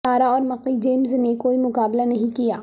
تارا اور Mickie James نے کوئی مقابلہ نہیں کیا